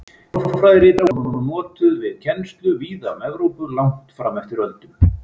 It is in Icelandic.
Málfræðirit þeirra voru notuð við kennslu víða um Evrópu langt fram eftir öldum.